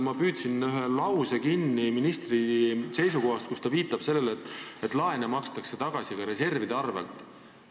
Ma püüdsin kinni ühe lause ministri seisukohast, kus ta viitas sellele, et laene makstakse tagasi ka reservide arvel.